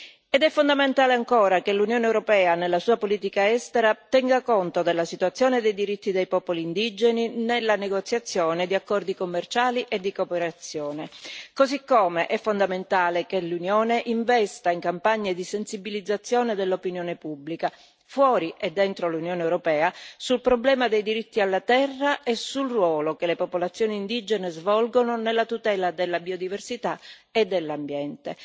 È altresì fondamentale che l'Unione europea, nella sua politica estera, tenga conto della situazione dei diritti dei popoli indigeni nella negoziazione di accordi commerciali e di cooperazione, così come è fondamentale che l'Unione investa in campagne di sensibilizzazione dell'opinione pubblica, fuori e dentro l'Unione europea, sul problema dei diritti alla terra e sul ruolo che le popolazioni indigene svolgono nella tutela della biodiversità e dell'ambiente.